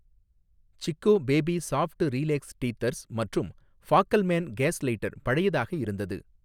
Chicco baby soft relax teethers மற்றும் Fackelmann gas lighter பழையதாக இருந்தது